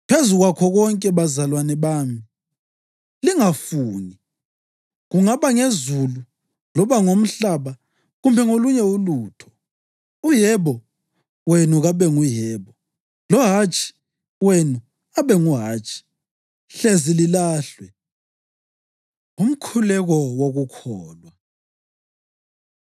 Phezu kwakho konke, bazalwane bami, lingafungi, kungaba ngezulu loba ngomhlaba kumbe ngolunye ulutho. “U-Yebo” wenu kabe nguyebo, lo “Hatshi” wenu abenguhatshi, hlezi lilahlwe. Umkhuleko Wokukholwa